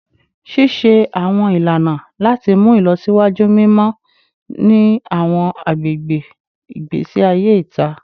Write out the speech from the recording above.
Ṣiṣe awọn ilana lati mu ilọsiwaju mimọ ni awọn agbegbe igbesi aye ita